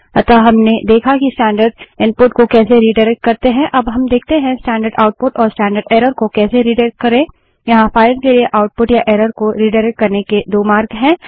अतः हमने देखा कि स्टैंडर्ड इनपुट को कैसे रिडाइरेक्ट करते हैं अब देखते हैं कि स्टैंडर्ड आउटपुट और स्टैंडर्ड एरर को कैसे रिडाइरेक्ट करें यहाँ फाइल के लिए आउटपुट या एरर को रिडाइरेक्ट करने के दो मार्ग हैं